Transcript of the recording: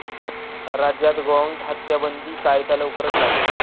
राज्यात गोवंश हत्याबंदी कायदा लवकरच लागू?